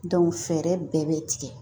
fɛɛrɛ bɛɛ bɛ tigɛ